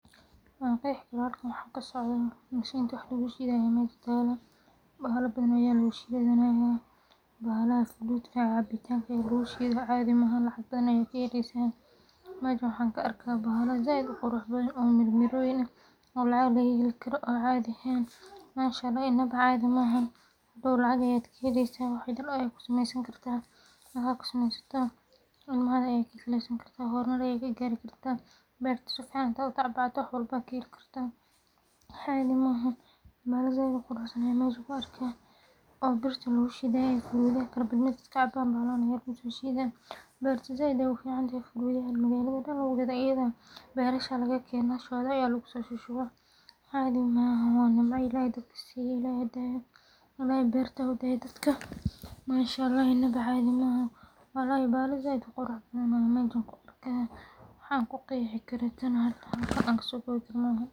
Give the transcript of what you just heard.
Waan qexi karaa halkan waxa kasocda mashinti wax lagu shidaye ineey tahay taageerayaashooda, taasoo keenta in hal-abuurkoodu mararka qaar hoos u dhaco ama ku ekaado hal nooc oo hees ah. Intaas waxaa dheer, suuqyada fanka iyo madadaalada oo aad u tartan badan ayaa sidoo kale caqabad waxa an kuqexi karaana oo halkan aan kusokowi karana maahan.